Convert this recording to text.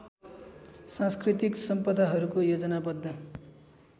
सांस्कृतिक सम्पदाहरूको योजनाबद्ध